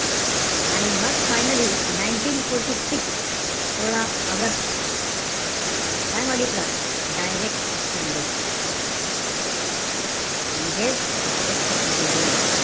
आणि मग finally ninteen fourty six सोळा ऑगस्ट काय मागितलं? direct action day म्हणजेच, प्रत्यक्ष कृती दिन.